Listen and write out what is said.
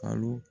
Alo